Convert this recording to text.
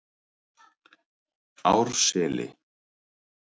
Árseli